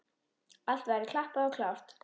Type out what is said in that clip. Allt væri klappað og klárt.